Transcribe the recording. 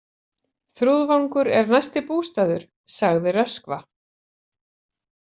Þrúðvangur er næsti bústaður, sagði Röskva.